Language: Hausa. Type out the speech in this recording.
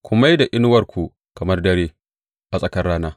Ku mai da inuwarku kamar dare, a tsakar rana.